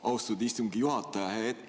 Austatud istungi juhataja!